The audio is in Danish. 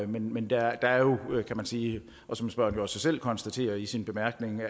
men der er jo kan man sige og som spørgeren også selv konstaterer i sine bemærkninger